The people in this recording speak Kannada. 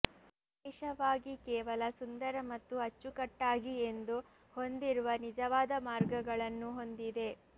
ವಿಶೇಷವಾಗಿ ಕೇವಲ ಸುಂದರ ಮತ್ತು ಅಚ್ಚುಕಟ್ಟಾಗಿ ಎಂದು ಹೊಂದಿರುವ ನಿಜವಾದ ಮಾರ್ಗಗಳನ್ನು ಹೊಂದಿದೆ